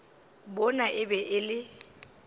bona e be e le